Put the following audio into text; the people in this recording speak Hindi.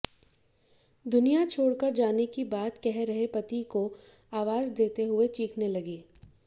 दुनिया छोड़कर जाने की बात कह रहे पति को आवाज देते हुए चीखने लगी